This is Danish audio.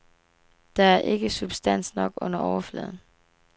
Der er ikke substans nok under overfladen.